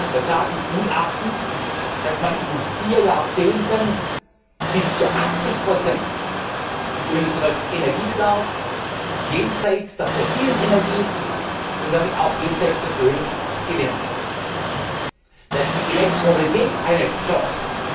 Da sagen Gutachten, dass man in vier Jahrzehnten bis zu 80 unseres Energiebedarfs jenseits der fossilen Energie und damit auch jenseits von Öl gewinnen kann. Da ist die Elektromobilität eine Chance.